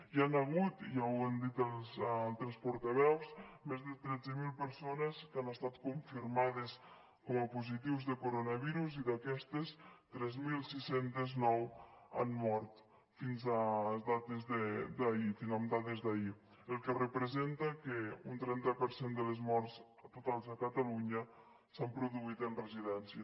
hi han hagut ja ho han dit els altres portaveus més de tretze mil persones que han estat confirmades com a positives de coronavirus i d’aquestes tres mil sis cents i nou han mort fins a data d’ahir amb dades d’ahir la qual cosa representa que un trenta per cent de les morts totals a catalunya s’han produït en residències